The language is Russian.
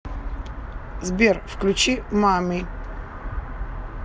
сбер включи мами